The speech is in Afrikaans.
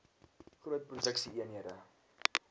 groot produksie eenhede